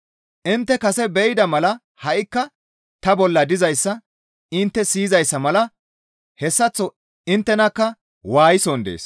Intte kase be7ida mala ha7ikka ta bolla dizayssa intte siyizayssa mala hessaththo inttenakka waayison dees.